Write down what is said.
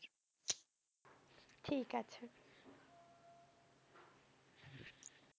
ঠিক আছে।